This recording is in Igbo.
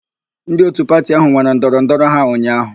Ndị òtù pati áhụ̀ nwere ndọrọndọrọ ha ụnyaahụ.